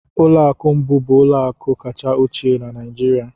Ụlọ akụ Mbu bụ ụlọ akụ kacha ochie na Nigeria